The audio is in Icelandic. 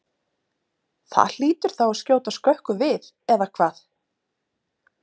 Það hlýtur þá að skjóta skökku við eða hvað?